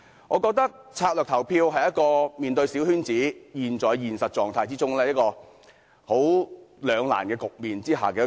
我覺得，策略性投票是面對小圈子選舉這種兩難局面的出路。